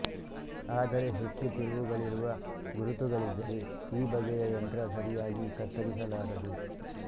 ಆದರೆ ಹೆಚ್ಚು ತಿರುವುಗಳಿರುವ ಗುರುತುಗಳಿದ್ದರೆ ಈ ಬಗೆಯ ಯಂತ್ರ ಸರಿಯಾಗಿ ಕತ್ತರಿಸಲಾರದು